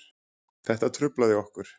Þetta truflaði okkur